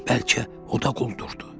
Bəlkə o da quldurdu.